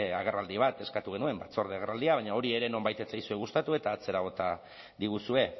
agerraldi bat eskatu genuen batzorde agerraldia baina hori ere nonbait ez zaizue gustatu eta atzera bota diguzue